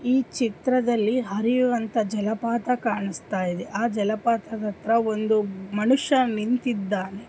E ಚಿತ್ರದಲ್ಲಿ ಹರಿಯುವಂತ ಜಲಪಾತ ಕಾಣಿಸ್ತಾಯಿದೆ ಆ ಜಲಪಾತದತ್ರಾ ಒಂದು ಮಾನುಷ ನಿಂತಿದ್ದಾನೆ.